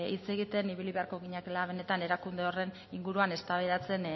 hitz egiten ibili beharko ginatekela benetan erakunde horren inguruan eztabaidatzen